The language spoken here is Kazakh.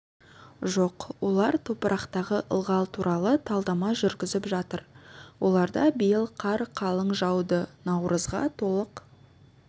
жоқ олар топырақтағы ылғал туралы талдама жүргізіп жатыр оларда биыл қар қалың жауды наурызға толық